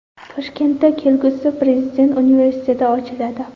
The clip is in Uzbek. Toshkentda kelgusida Prezident universiteti ochiladi.